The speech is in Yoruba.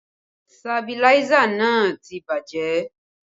Sabiláísà náà ti bàjẹ́